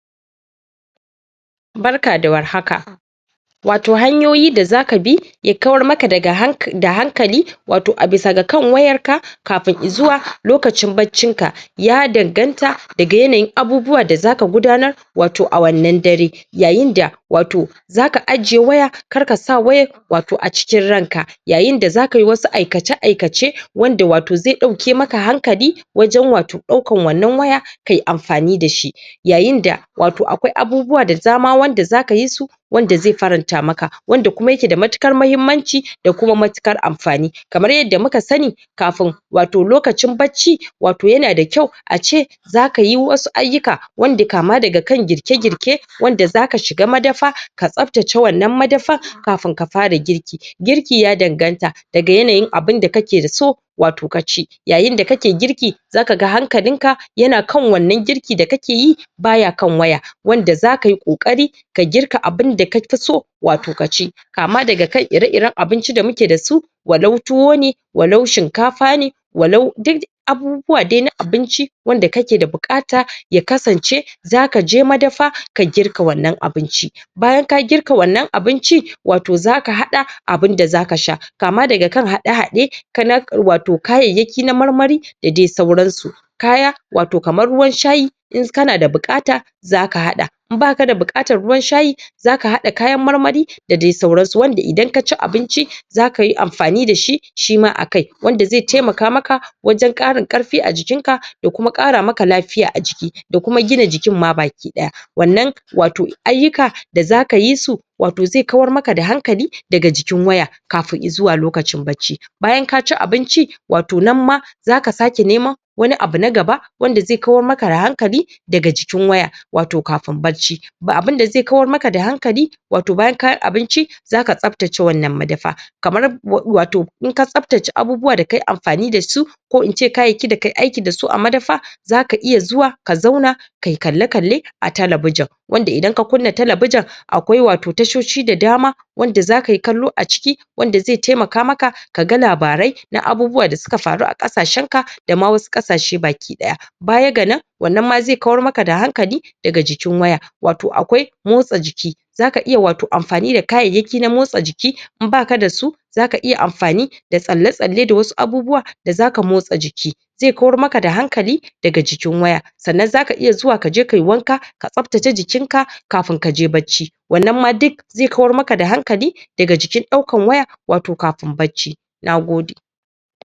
barka da warhaka wato da zaka bi ya kawar maka daga da hankali wato a bisa kan wayar ka kafin izuwa lokacin barcin ka ya danganta daga yanayin abubuwa da zaka gudanar wato a wannan dare yayinda wato zaka ajiye waya kar kasa wayar wato acikin ranka yayinda zakayi wasu aikace aikace wanda wato zai ɗauke maka hankali wajen wato ɗaukan wannan waya kai anfani dashi yayinda wato akwai abubuwa da dama wanda zakayi su wanda zai faranta maka wanda kuma yake da matuƙar mahimmanci da kuma matuƙar anfani kafin wato lokacin barci wato yanda kyau ace zakayi wasu aiyuka wanda kama daga kan girke girke wanda zaka shiga madafa ka tsafatce wannan madafan kafin ka fara girki girki ya danganta daga yanayin abin da kake so wato kaci yayinda kake girki zakaga hankalinka yana kan wannan girki da kakeyi, baya kan waya wanda zakayi ƙoƙari ka girka abinda kafi so wato ka ci kama daga kan ire iren abincin da muke dasu walau tuwo ne, walau shinkafa ne walau duk abubuwa dai na abinci wanda kake da buƙata ya kasance zakaje madafa ka girka wannan abinci bayan ka girka wannan abincin wato zaka haɗa abinda zaka sha kama daga kan haɗe haɗe na kayayyaki na marmari da dai sauran su kaya wato kamar ruwan shayi in kana da buƙata zaka haɗa in baka da buƙatar ruwan shayi zaka haɗa kayan maramari da dai sauransu wanda idan kaci abinci zakayi anfani dashi shima akai wanda zai taimaka maka wajen ƙarin ƙarfi a jikin ka da kuma ƙara maka lafiya a jiki da kuma jikin ma baki ɗaya wannan wato aiyuka da zaka yi su wato zai kawar maka da hankali daga jikin waya kafin izuwa lokacin barci bayan kaci abinci wato nan ma zaka sake neman wani abu na gaba wanda zai kawar maka da hankali daga jikin waya wato kafin barci ba abinda zai kawar maka da hankali wato bayan kayi abinci zaka tsaftacewannan madafa kamar wato in ka tsaftace abubuwa da kayi anfani dasu ko in kayayyakin da kayi aiki dasu a madafa zaka iya zuwa ka zauna kayi kalle kalle a talabijin wanda idan ka kujna talabijin akwai wato tashoshi da dama wanda zakayi kallo a ciki wanda zai taimaka maka kaga labarai na baubuwa da suka faru a ƙasshenka dama wasu ƙasashe baki ɗaya bayaga nan wannan ma zai kawar maka da hankali daga jikin waya wato akwai motsa jiki zaka iya wato anfani da kayayyaki na motsa jiki in baka dasu zaka iya anfani da tsalle tsalle da wasu abubuwa da zaka motsa jiki zai kawar maka da hanakali daga jikin waya sannan zaka iya zuwa sannan kai wanka ka tsaftace jikinka kafin kaje barci wannan ma duk zai kawar maka da hankali daga jikin ɗaukar waya wato kafin barci, nagode